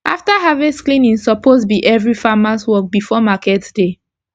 after harvest cleaning suppose be everi farmers work before market day